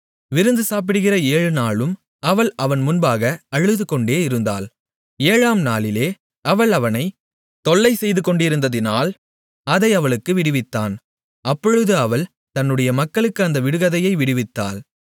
விருந்து சாப்பிடுகிற ஏழுநாளும் அவள் அவன் முன்பாக அழுதுகொண்டே இருந்தாள் ஏழாம் நாளிலே அவள் அவனை தொல்லை செய்துகொண்டிருந்ததினால் அதை அவளுக்கு விடுவித்தான் அப்பொழுது அவள் தன்னுடைய மக்களுக்கு அந்த விடுகதையை விடுவித்தாள்